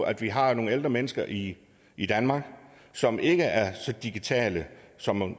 at vi har nogle ældre mennesker i i danmark som ikke er så digitale som